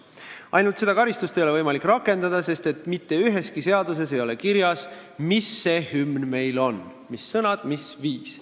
Ainult et seda karistust ei ole võimalik rakendada, sest mitte üheski seaduses ei ole kirjas, mis see hümn meil on, mis on selle sõnad, mis on viis.